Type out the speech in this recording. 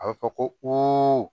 A bɛ fɔ ko